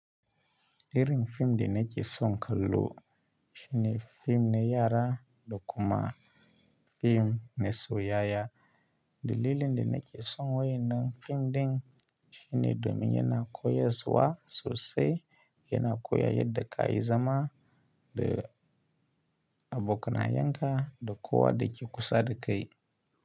Irin fim dana ke son kallo, shine fim ne yara dokuma fim ne soyayya, dalilin danail ke son waƴanan fim ɗin shine domin yana koyas wa sosai yana koya yadda ka yi zama da abokanayan ka da kowa da ke kusa da kai.